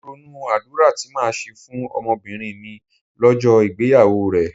Mò ń ronú àdúrà tí màá ṣe fún ọmọbìnrin mi lọ́jọ́ ìgbéyàwó rẹ̀.